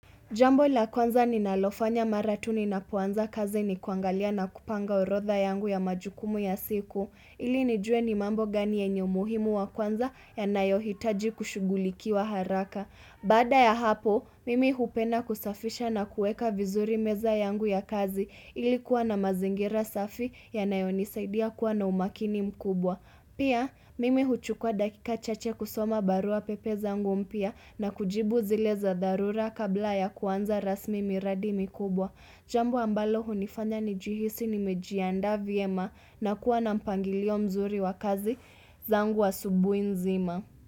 Jambo la kwanza ninalofanya mara tu ninapoanza kazi ni kuangalia na kupanga orodha yangu ya majukumu ya siku, ili nijue ni mambo gani yenye umuhimu wa kwanza yanayohitaji kushughulikiwa haraka. Baada ya hapo, mimi hupenda kusafisha na kueka vizuri meza yangu ya kazi ili kuwa na mazingira safi yanayonisaidia kuwa na umakini mkubwa. Pia mimi huchukua dakika chache kusoma barua pepe zangu mpya na kujibu zile za dharura kabla ya kuanza rasmi miradi mikubwa. Jambo ambalo hunifanya nijihisi nimejiandaa vyema na kuwa na mpangilio mzuri wa kazi zangu asubui nzima.